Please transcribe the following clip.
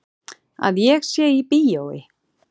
Að ég sé í bíói.